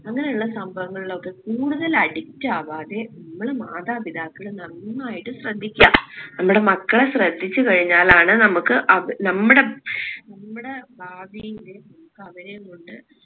അങ്ങനെയുള്ള സംഭവങ്ങളിലൊക്കെ കൂടുതല് addict ആവാതെ നമ്മൾ മാതാപിതാക്കൾ നന്നായിട്ട് ശ്രദ്ധിക്ക നമ്മളെ മക്കളെ ശ്രദ്ധിച്ച് കഴിഞ്ഞാലാണ് നമ്മുക്ക് അവർ നമ്മടെ നമ്മടെ ഭാവിയില് നമ്മുക്ക് അവരേം കൊണ്ട്